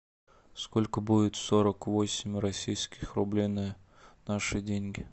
сколько будет сорок восемь российских рублей на наши деньги